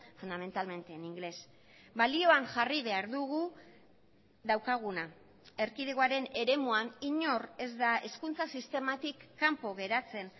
fundamentalmente en inglés balioan jarri behar dugu daukaguna erkidegoaren eremuan inor ez da hezkuntza sistematik kanpo geratzen